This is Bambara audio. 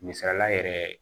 Misalila yɛrɛ